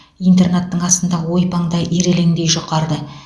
интернаттың астындағы ойпаң да ирелеңдей жұқарды